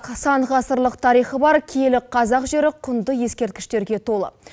сан ғасырлық тарихы бар киелі қазақ жері құнды ескерткіштерге толы